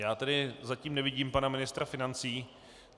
Já tedy zatím nevidím pana ministra financí.